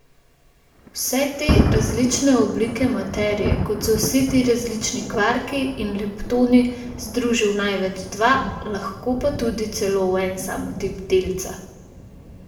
Vse te različne oblike materije, kot so vsi ti različni kvarki in leptoni, združi v največ dva, lahko pa tudi celo v en sam tip delca.